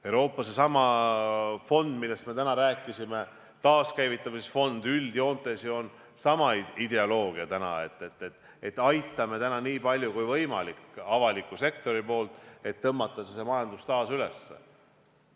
Euroopa seesama fond, millest me täna rääkisime, taaskäivitamise fond on ju üldjoontes sama ideoloogiaga, et aitame täna nii palju kui võimalik avaliku sektori poolt, et tõmmata majandus taas käima.